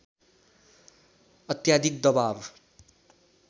अत्याधिक दवाब